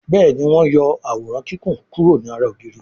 Béèni wón yó Àwòrán Kíkún kuro ní àrà ògiri.